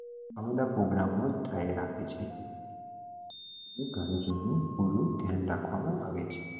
આવા બધા પ્રોગ્રામો થયા રાખે છે હું ઘરે જઈને પૂરું ધ્યાન રાખવામાં આવે છે